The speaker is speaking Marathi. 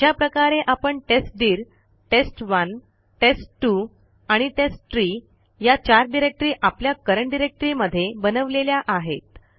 अशा प्रकारे आपण testdirtest1टेस्ट2 आणि टेस्टट्री या चार डिरेक्टरी आपल्या करंट डायरेक्टरी मध्ये बनवलेल्या आहेत